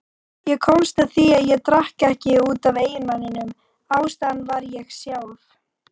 Ég komst að því að ég drakk ekki út af eiginmanninum, ástæðan var ég sjálf.